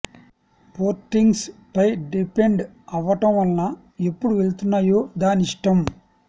పోర్టింగ్స్ పై డిపెండ్ అవటం వలన ఎప్పుడు వెళ్తున్నాయో దాని ఇష్టం